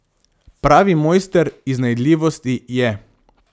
Pravi mojster iznajdljivosti je.